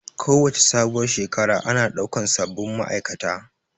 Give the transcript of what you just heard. Kowace sabuwar Shekara ana ɗaukan sabin ma'aikata